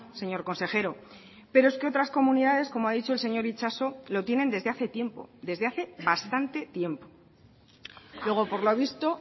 señor consejero pero es que otras comunidades como ha dicho el señor itxaso lo tienen desde hace tiempo desde hace bastante tiempo luego por lo visto